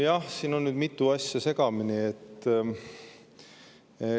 Jah, siin on nüüd mitu asja segamini.